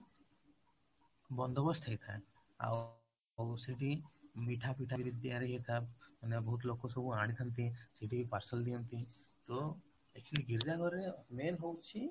ବନ୍ଦୋବସ୍ତ ହେଇଥାଏ ଆଉ ସେଇଠି ମିଠା ପିଠା ବି ତିଆରି ହେଇଥାଏ ମାନେ ବହୁତ ଲୋକ ସବୁ ଆଣିଥାନ୍ତି ସେଇଠି ପାର୍ସଲ ନିଅନ୍ତି ତ actually ଗୀର୍ଜା ଘରେ main ହଉଛି